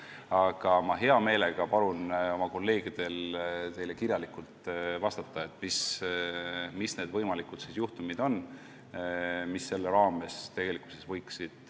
Aga ma hea meelega palun oma kolleegidel teile kirjalikult vastata, millised on need juhtumid, mis tegelikkuses selle raames esineda võiksid.